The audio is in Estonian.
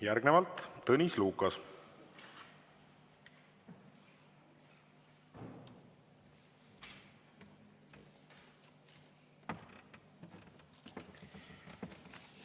Järgnevalt Tõnis Lukas!